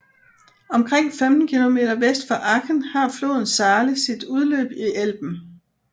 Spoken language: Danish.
Omkring 15 km vest for Aken har floden Saale sit udløb i Elben